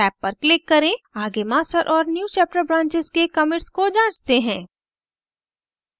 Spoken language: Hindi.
आगे master और newchapter branches के commits को जाँचते हैं